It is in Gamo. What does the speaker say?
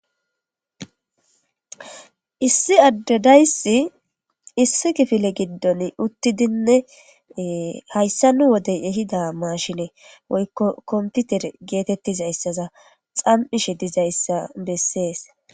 issi addedaysi issi kifile giddon uttidinne hayssa nu wodey ehida maashine woykko komputer geetettizayssaza xam7ishe dizayssa bessees